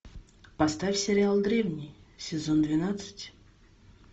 поставь сериал древний сезон двенадцать